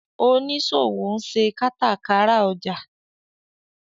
oniṣòwo nṣe katakara ọjà.